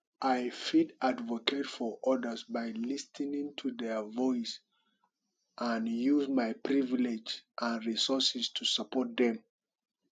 i fit advocate for odas by lis ten ing to their voice and use my privilege and resources to support dem